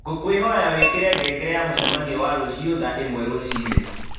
ngũkwĩhoya wĩkĩre ngengere ya mũcemanio wa rũciũ thaa ĩmwe rũci-inĩ